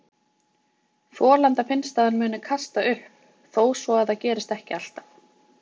Þolanda finnst að hann muni kasta upp, þó svo að það gerist ekki alltaf.